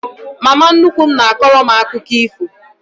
Mama nnukwu m na-akọrọ m akụkọ ifo.